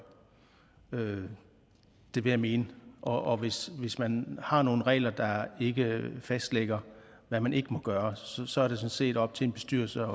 vil jeg mene og hvis hvis man har nogle regler der ikke fastlægger hvad man ikke må gøre så er det sådan set op til en bestyrelse